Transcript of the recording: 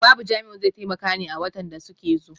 Babu Jamiu zai taimaka ne a watan da suke zo.